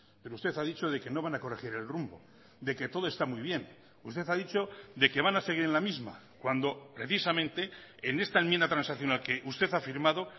pero usted ha dicho de que no van a corregir el rumbo de que todo está muy bien usted ha dicho de que van a seguir en la misma cuando precisamente en esta enmienda transaccional que usted ha firmado